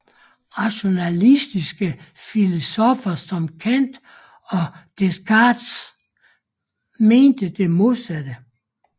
Rationalistiske filosoffer som Kant og Descartes mente det modsatte